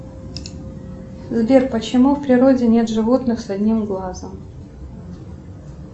сбер почему в природе нет животных с одним глазом